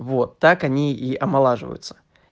вот так они и омолаживаются